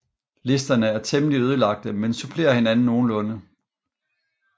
Listerne er temmelig ødelagte men supplerer hinanden nogenlunde